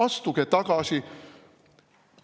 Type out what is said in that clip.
Astuge tagasi!